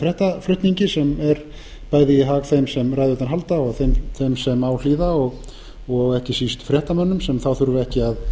fréttaflutningi sem er bæði í hag þeim sem ræðurnar halda og þeim sem á hlýða og ekki síst fréttamönnum sem þá þurfa ekki